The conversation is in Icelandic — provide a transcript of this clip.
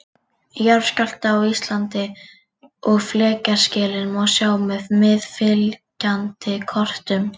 Jarðskjálfta á Íslandi og flekaskilin má sjá á meðfylgjandi kortum.